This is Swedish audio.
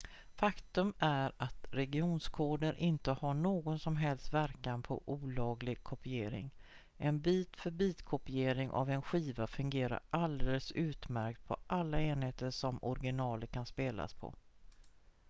faktum är att regionskoder inte har någon som helst verkan på olaglig kopiering en bit-för-bit-kopiering av en skiva fungerar alldeles utmärkt på alla enheter som originalet kan spelas på